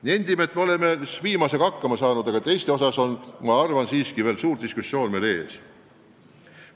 Nendime, et me oleme viimasega hakkama saanud, aga muus osas on siiski veel suur diskussioon ees.